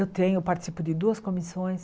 Eu tenho, participo de duas comissões.